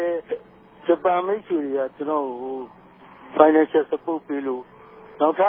ည်း ဂဵပန်မိတ်ဆြေတေကြ ကဵနော့်ကို Financial Support ပေးလိုႛ နောက်ထပ